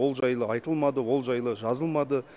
ол жайлы айтылмады ол жайлы жазылмады